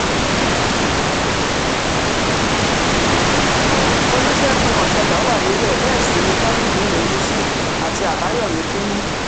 olùṣègùn òsápà wà níbẹ̀ bẹ́ẹ̀ sì ni tajudeen olùṣí àti àbáyọ̀mí finnih